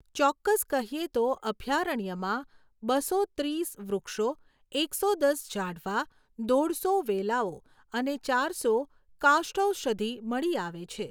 ચોક્કસ કહીએ તો, અભયારણ્યમાં બસો ત્રીસ વૃક્ષો, એકસો દસ ઝાડવાં, દોઢસો વેલાઓ અને ચારસો કાષ્ઠૌષધિ મળી આવે છે.